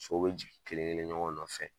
Sow be jigin kelen kelen ɲɔgɔn nɔfɛ